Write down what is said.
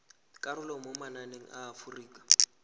karolo mo mananeng a aforika